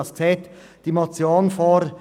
Was sieht diese Motion vor?